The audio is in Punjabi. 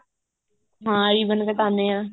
ਹਾਂ ਰੀਬਨ ਕਟਾਉਂਦੇ ਹਾਂ